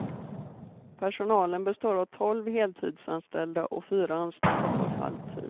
Personalen består av tolv heltidsanställda och fyra anställda på halvtid.